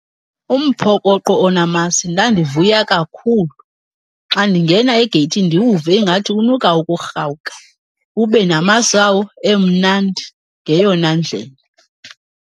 Umphokoqo onamasi ndandivuya kakhulu xa ndingena egeyithini ndiwuve ingathi unuka ukurhawuka. Ube namasi wawo emnandi ngeyona ndlela.